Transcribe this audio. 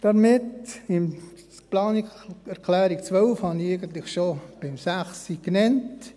Die Planungserklärung 12 habe ich eigentlich schon mit der Planungserklärung 6 genannt.